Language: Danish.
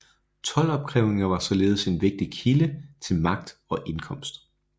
Toldopkrævninger var således en vigtig kilde til magt og indkomst